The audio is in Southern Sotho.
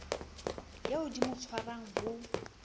eo di mo tshwarang ho